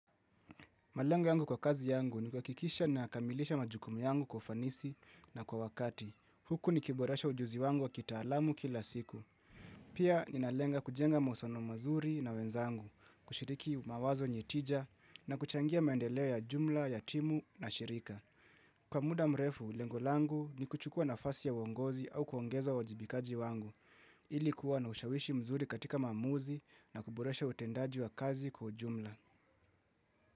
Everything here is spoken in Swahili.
Malengo yangu kwa kazi yangu ni kuhakikisha na kamilisha majukumu yangu kwa fanisi na kwa wakati. Huku nikiboresha ujuzi wangu wa kitaalamu kila siku. Pia ninalenga kujenga mauhusiano mazuri na wenzangu, kushiriki mawazo yenye tija na kuchangia maendeleo ya jumla ya timu na shirika. Kwa muda mrefu, lengo langu ni kuchukua nafasi ya uongozi au kuongeza uwajibikaji wangu. Ili kuwa na ushawishi mzuri katika maamuzi na kuboresha utendaji wa kazi kwa jumla.